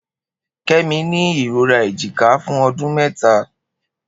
Kemi ni irora ejika fun ọdun mẹta.